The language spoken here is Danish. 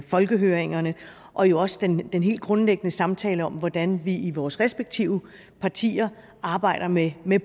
folkehøringerne og jo også den helt grundlæggende samtale om hvordan vi i vores respektive partier arbejder med